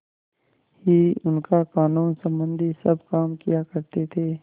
ही उनका कानूनसम्बन्धी सब काम किया करते थे